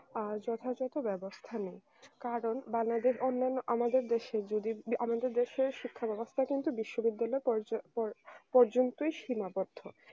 আ যথাযথ ব্যবস্থা নেয় কারণ বানাদের অন্যান্য আমাদের দেশে যদি আমাদের দেশের শিক্ষা ব্যবস্থা কিন্তু বিশ্ববিদ্যালয় পর্য পর্যন্তই সীমাবদ্ধ